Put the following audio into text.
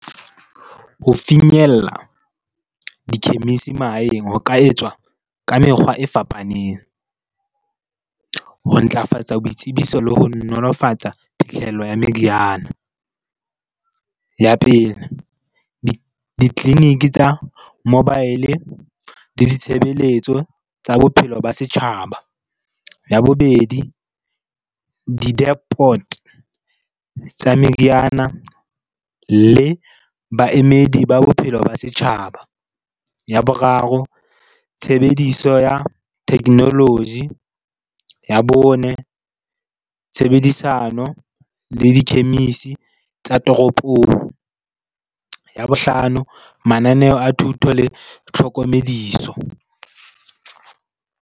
Ho finyella dikhemisi mahaeng ho ka etswa ka mekgwa e fapaneng ho ntlafatsa boitsebiso le ho nolofatsa phihlello ya meriana. Ya pele, ditleliniki tsa mobile le ditshebeletso tsa bophelo ba setjhaba. Ya bobedi, di-depot tsa meriana le baemedi ba bophelo ba setjhaba. Ya boraro, tshebediso ya technology. Ya bone, tshebedisano le dikhemisi tsa toropong. Ya bohlano, mananeo a thuto le tlhokomediso.